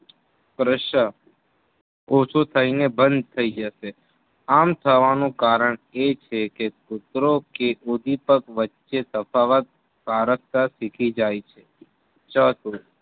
ઓછું થઈ ને બંધ થઈ જશે આમ થવાનું કારણ એ છે કે કૂતરો કે ઉધીપગ વચ્ચે તફાવત પારખતા શીખી જાય છે.